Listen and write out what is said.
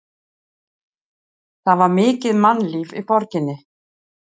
Það var mikið mannlíf í borginni.